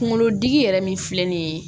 Kunkolotigi yɛrɛ min filɛ nin ye